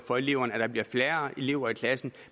for eleverne at der bliver færre elever i klasserne